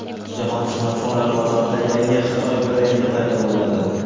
Jahon smartfonlar bozorida yangi Xitoy brendi paydo bo‘ladi.